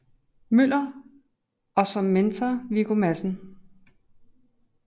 Møller og som mentor Viggo Madsen